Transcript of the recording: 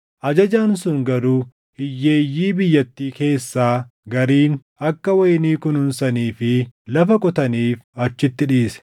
Ajajaan sun garuu hiyyeeyyii biyyattii keessaa gariin akka wayinii kunuunsanii fi lafa qotaniif achitti dhiise.